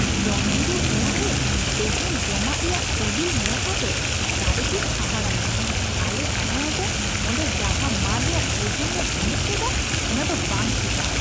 ᱡᱚᱢᱡᱤᱨᱟᱹᱣ ᱚᱲᱟᱜ ᱨᱮ ᱛᱤᱦᱤᱧ ᱡᱚᱢᱟᱜ ᱨᱮᱭᱟᱜ ᱥᱤᱵᱤᱞ ᱧᱮᱞ ᱠᱟᱛᱮ ᱥᱟᱹᱨᱤᱜᱤᱧ ᱦᱟᱦᱟᱲᱟᱜ ᱞᱮᱱᱟ ᱾ᱟᱞᱮ ᱥᱟᱫᱷᱟᱨᱚᱱᱚᱛᱚ ᱚᱰᱮᱸ ᱡᱟᱦᱟᱸ ᱢᱟᱹᱱ ᱨᱮᱭᱟᱜ ᱵᱩᱡᱩᱱ ᱞᱮ ᱦᱟᱢᱮᱴ ᱞᱮᱫᱟ ᱚᱱᱟᱫᱚ ᱵᱟᱝ ᱴᱷᱤᱠᱟ ᱾